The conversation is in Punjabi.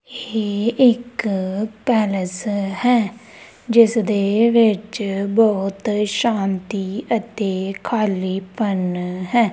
ਇਹ ਇੱਕ ਪੈਲੇਸ ਹੈ ਜਿਸਦੇ ਵਿੱਚ ਬਹੁਤ ਸ਼ਾਂਤੀ ਅਤੇ ਖਾਲੀਪਨ ਹੈ।